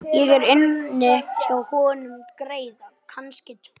Ég á inni hjá honum greiða, kannski tvo.